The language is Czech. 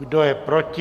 Kdo je proti?